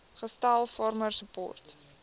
gestel farmer support